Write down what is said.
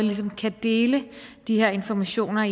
ligesom kan dele de her informationer